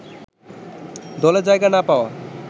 দলে জায়গা না পাওয়া